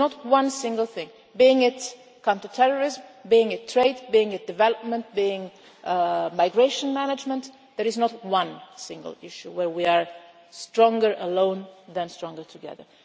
There is not one single thing, be it counter terrorism, be it trade, be it development, be it migration management, there is not one single issue where we are stronger alone than stronger together.